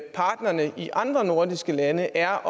partnerne i de andre nordiske lande er